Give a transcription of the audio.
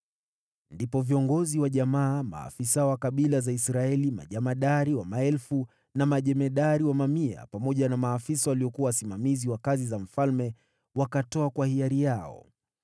Ndipo viongozi wa jamaa, maafisa wa kabila za Israeli, majemadari wa maelfu na majemadari wa mamia, pamoja na maafisa waliokuwa wasimamizi wa kazi za mfalme wakatoa kwa hiari yao.